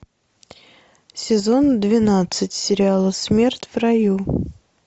сезон двенадцать сериала смерть в раю